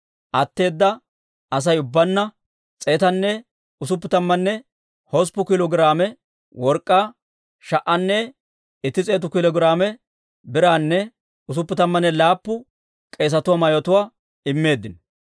Atteeda Asay ubbaanna 168 kiilo giraame work'k'aa, 1,100 kiilo giraame biraanne 67 k'eesatuwaa mayotuwaa immeeddino.